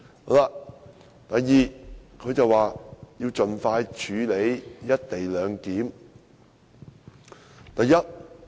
第二，特首表示要盡快處理"一地兩檢"議案。